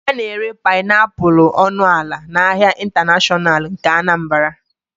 A na-ere painiapulu ọnụ ala n'ahịa ịntanashọnal nke Anambra